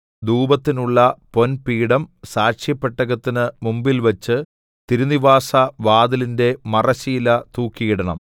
ധൂപത്തിനുള്ള പൊൻപീഠം സാക്ഷ്യപെട്ടകത്തിന് മുമ്പിൽവച്ച് തിരുനിവാസ വാതിലിന്റെ മറശ്ശീല തൂക്കിയിടണം